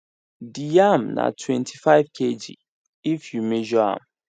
the yam na twentyfive kg if you measure am